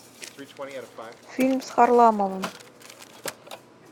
фильм с харламовым